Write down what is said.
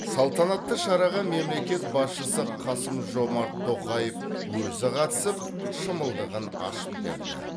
салтанатты шараға мемлекет басшысы қасым жомарт тоқаев өзі қатысып шымылдығын ашып берді